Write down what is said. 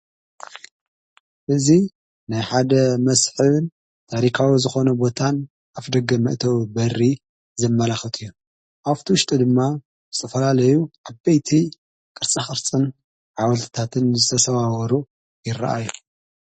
እዙ ናይ ሓደ መስሕብን ታሪካዊ ዝኾነ ቦታን ኣፍ ደገ መእተዉ በሪ ዘመላኽት እዩን ኣፍቲ ውሽጢ ድማ ጽፈላለዩ ዓበይቲ ቕርሳሕኽርጽን ዓወልትታትን ዝተሰብወሩ ይረአዮ።